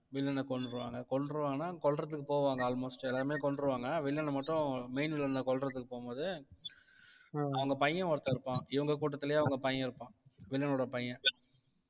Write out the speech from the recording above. வில்லனை கொன்னுடுவாங்க கொன்றுவாங்கன்னா கொல்றதுக்கு போவாங்க almost எல்லாருமே கொன்றுவாங்க வில்லனை மட்டும் main வில்லனை கொல்றதுக்கு போகும்போது அவங்க பையன் ஒருத்தன் இருப்பான் இவங்க கூட்டத்திலேயே அவங்க பையன் இருப்பான் வில்லனோட பையன்